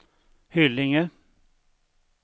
Hyllinge